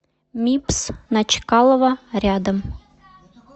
мибс на чкалова рядом